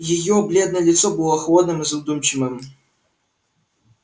её бледное лицо было холодным и задумчивым